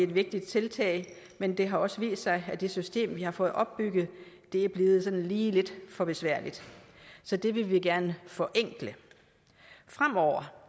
vigtigt tiltag men det har også vist sig at det system vi har fået opbygget er blevet lige lidt for besværligt så det vil vi gerne forenkle fremover